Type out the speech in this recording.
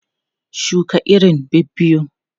Shuka irin biyu biyu!